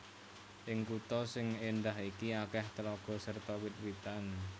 Ing kutha sing éndah iki akèh tlaga serta wit witan